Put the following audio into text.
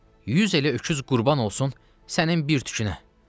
Yüz elə öküz qurban olsun sənin bir tükünə.